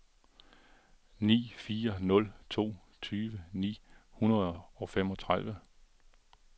ni fire nul to tyve ni hundrede og femogtredive